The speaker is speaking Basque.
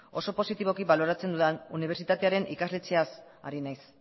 oso positiboki baloratzen dudan unibertsitatearen ikastetxeaz ari naiz